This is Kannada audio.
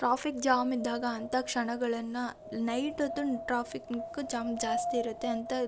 ಟ್ರಾಫಿಕ್ ಜಾಮ್ ಇದ್ದಾಗ ಅಂತ ಕ್ಷಣಗಳನ್ನು ನೈಟ್ ಹೊತ್ತು ಟ್ರಾಫಿಕ್ ಜಾಮ್ ತುಂಬಾ ಜಾಸ್ತಿ ಇರುತ್ತೆ.